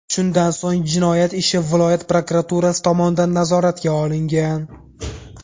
Shundan so‘ng jinoyat ishi viloyat prokuraturasi tomonidan nazoratga olingan.